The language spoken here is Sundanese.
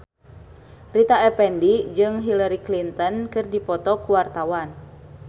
Rita Effendy jeung Hillary Clinton keur dipoto ku wartawan